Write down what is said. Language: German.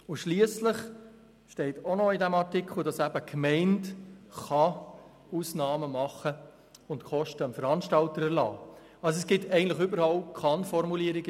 Schliesslich steht auch in diesem Artikel, dass Gemeinden Ausnahmen machen und dem Veranstalter Kosten erlassen können.